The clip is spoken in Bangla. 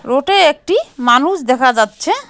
রোডে একটি মানুষ দেখা যাচ্ছে।